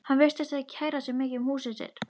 Hann virtist ekki kæra sig mikið um húsið sitt.